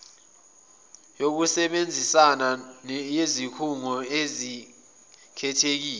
yokusebenzisana yezikhungo ezikhethekile